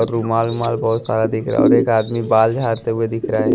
रुमाल-रुमाल बहुत सारा दिख रहा है और एक आदमी बाल झाड़ते हुए दिख रहा है।